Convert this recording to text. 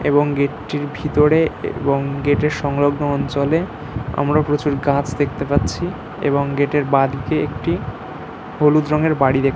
এবং গেটটির ভিতরে এবং গেটের সংলগ্ন অঞ্চলে আমরা প্রচুর গাছ দেখতে পাচ্ছি এবং গেটের বাঁ দিকে একটি হলুদ রঙের বাড়ি দে--